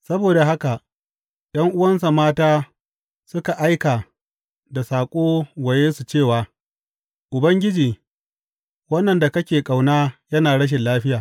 Saboda haka ’yan’uwansa mata suka aika da saƙo wa Yesu cewa, Ubangiji, wannan da kake ƙauna yana rashin lafiya.